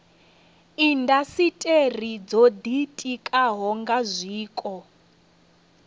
indasiteri dzo ditikaho nga zwiko